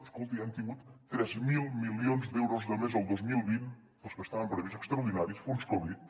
escolti hem tingut tres mil milions d’euros de més el dos mil vint dels que estaven previstos extraordinaris fons covid